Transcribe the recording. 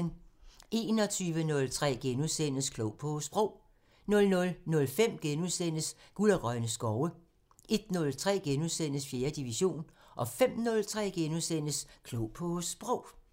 21:03: Klog på Sprog * 00:05: Guld og grønne skove * 01:03: 4. division * 05:03: Klog på Sprog *